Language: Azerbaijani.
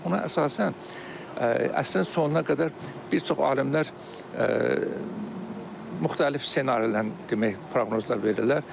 Ona əsasən əsrin sonuna qədər bir çox alimlər müxtəlif ssenarilərin demək, proqnozlar verirlər.